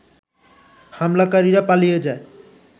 হামলাকারীরা পালিয়ে যায়